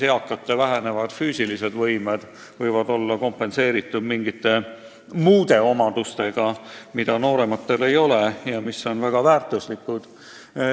Eakate vähenevad füüsilised võimed võivad olla kompenseeritud mingite muude omadustega, mida noorematel ei ole ja mis on väga väärtuslikud.